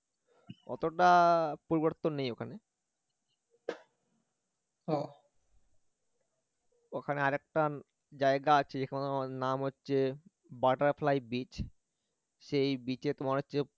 ওতটা পরিবর্তন নেই ওখানে ওখানে আরেকটা জায়গা আছে যেখানে তোমার নাম হচ্ছে butterfly beach সেই beach এ তোমার হচ্ছে